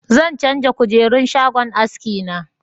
Zan canja kujerun shagon haski na